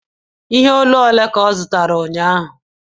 Ihe olu ole ka ọ zụtara ụnyahụ?